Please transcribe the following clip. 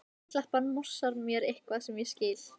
Steinklappan morsar mér eitthvað sem ég skil